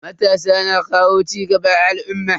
Matasa na kawo cigaba a al'umma.